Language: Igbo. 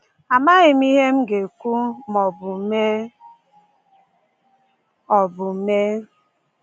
Amaghị m ihe m ga-ekwu ma ọ bụ mee ọ bụ mee